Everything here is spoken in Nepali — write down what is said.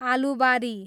आलुबारी